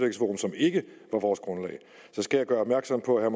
ikke var vores grundlag skal jeg gøre opmærksom på at